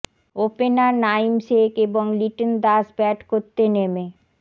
opener Naim Sheikh এবং Liton Das bat করতে নেমে